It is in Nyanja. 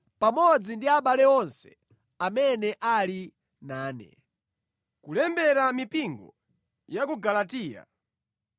pamodzi ndi abale onse amene ali nane, Kulembera mipingo ya ku Galatiya: